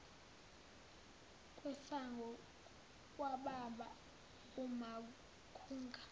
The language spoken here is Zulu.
kwesango kwababa umakhunga